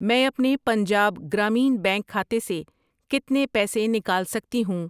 میں اپنے پنجاب گرامین بینک کھاتے سے کتنے پیسے نکال سکتی ہوں؟